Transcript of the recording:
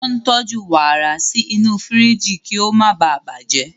Wọ́n ń tọ́jú warà sí inú firiji kí ó má ​​baà bàjẹ́.